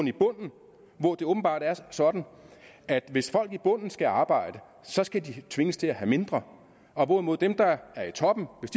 i bunden hvor det åbenbart er sådan at hvis folk i bunden skal arbejde så skal de tvinges til at have mindre hvorimod dem der er i toppen